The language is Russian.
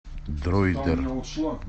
дроидер